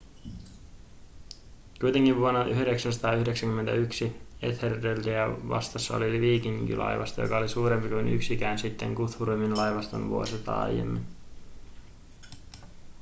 kuitenkin vuonna 991 ethelrediä vastassa oli viikinkilaivasto joka oli suurempi kuin yksikään sitten guthrumin laivaston vuosisataa aiemmin